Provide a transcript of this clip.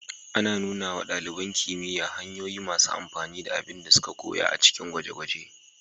Ana nuna wa ɗaliban kimiyya hanyoyi masu amfani na abin da suka koya a cikin dakin gwaje-gwaje.